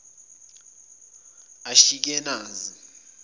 ashikenazi